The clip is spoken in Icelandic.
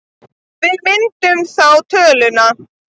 Við myndum þá töluna